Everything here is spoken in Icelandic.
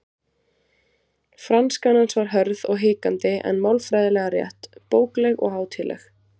Franskan hans var hörð og hikandi en málfræðilega rétt, bókleg og hátíðleg.